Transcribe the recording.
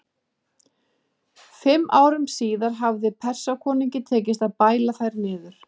Fimm árum síðar hafði Persakonungi tekist að bæla þær niður.